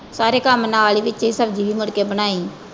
ਸਾਰੇ ਕੰਮ ਨਾਲ ਈ ਵਿਚੇ ਈ ਸਬਜ਼ੀ ਵੀ ਮੁੜ ਕੇ ਬਣਾਈ।